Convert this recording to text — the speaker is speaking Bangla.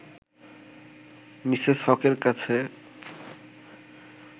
মিসেস হকের কাছে